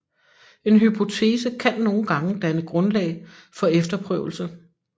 En hypotese kan nogle gange danne grundlag for efterprøvelse